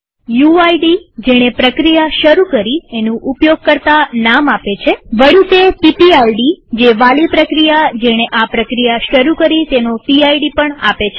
UID જેણે પ્રક્રિયા શરુ કરી એનું ઉપયોગકર્તા નામ આપે છેવળી તે પીપીઆઈડી જે વાલી પ્રક્રિયા જેણે આ પ્રક્રિયા શરુ કરી તેનો પીડ પણ આપે છે